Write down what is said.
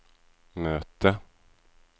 möte